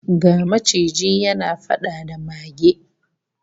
Ga maciji yana fada da mage